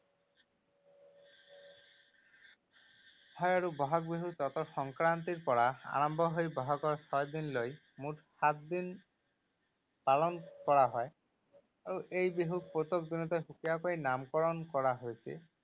হয় আৰু বহাগ বিহু চতৰ সংক্ৰান্তিৰ পৰা আৰম্ভ হৈ বহাগৰ ছয়দিনলৈ, মুঠ সাতদিন পালন কৰা হয়। আৰু এই বিহুক প্ৰত্যেক সুকীয়াকৈ নামকৰণ কৰা হৈছে।